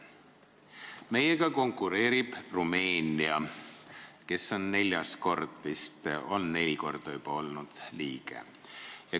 Meiega konkureerib Rumeenia, kes on vist juba neli korda liige olnud.